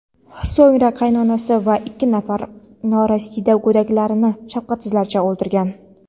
so‘ngra qaynonasi va ikki nafar norasida go‘daklarini shafqatsizlarcha o‘ldirgan.